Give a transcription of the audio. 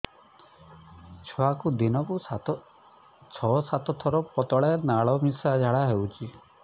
ଛୁଆକୁ ଦିନକୁ ଛଅ ସାତ ଥର ପତଳା ନାଳ ମିଶା ଝାଡ଼ା ହଉଚି